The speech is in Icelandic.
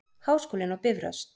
Háskólinn á Bifröst.